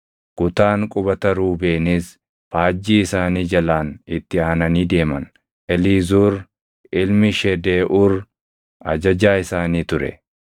Kutaan qubata Ruubeenis faajjii isaanii jalaan itti aananii deeman. Eliizuur ilmi Shedeeʼuur ajajaa isaanii ture.